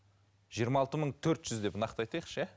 жиырма алты мың төрт жүз деп нақты айтайықшы иә